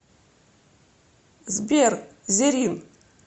сбер зеррин